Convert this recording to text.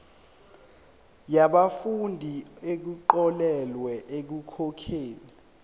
yabafundi abaxolelwa ekukhokheni